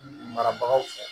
Marabagaw fɛ